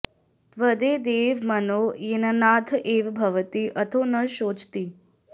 त॒द्वै॒ दै॒वं म॒नो ये॒नानन्द्य् ए॒व॒ भ॒वति अ॒थो न॒ शोचति